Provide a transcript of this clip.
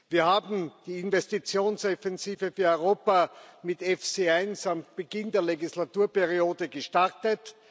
Wir haben die Investitionsoffensive für Europa mit EFSI 1 am Beginn der Legislaturperiode gestartet.